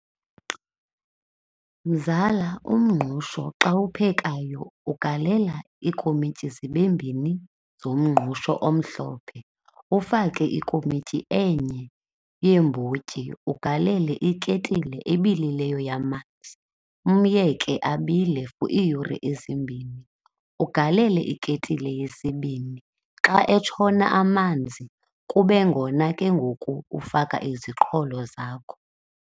Mzala, umngqusho xa uwuphekayo ugalela iikomityi zibe mbini zomngqusho omhlophe, ufake ikomityi enye yeembotyi, ugalele iketile ebilileyo yamanzi, umyeke abile for iiyure ezimbini. Ugalele iketile yesibini, xa etshona amanzi kube ngona ke ngoku ufaka iziqholo zakho.